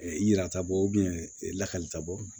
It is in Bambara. i yira taa bɔ lakalita bɔ